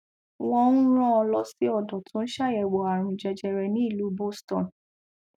wọn ń rán an lọ sí ọdọ tó ń ṣàyẹwò àrùn jẹjẹrẹ nílùú boston